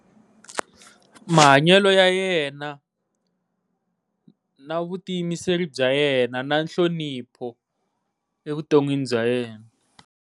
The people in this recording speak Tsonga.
Mahanyelo ya yena na vutiyimiseri bya yena na nhlonipho evuton'wini bya yena.